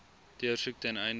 deursoek ten einde